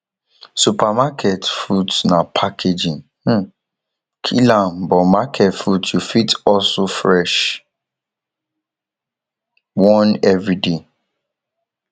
supermarket fruits na packaging um kill am but market fruits yu fit hustle fresh one evriday